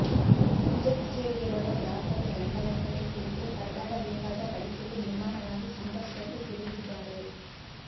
ಅಂಚೆ ಕಛೇರಿಗೆ ಬರುವ ಗ್ರಾಹಕರು ಗಂಟೆಗಟ್ಟಲೆ ಕುಳಿತು ಪರದಾಡಬೇಕಾದ ಪರಿಸ್ಥಿತಿ ನಿರ್ಮಾಣವಾಗಿ ಸಂಕಷ್ಟಕ್ಕೆ ಸಿಲುಕಿದ್ದಾರೆ